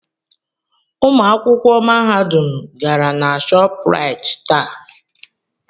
Ụmụ akwụkwọ Mahadum gara na Shopraịt taa.